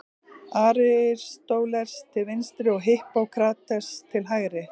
Aristóteles til vinstri og Hippókrates til hægri.